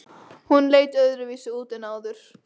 Hún leit öðruvísi út en áður.